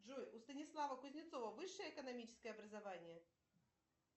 джой у станислава кузнецова высшее экономическое образование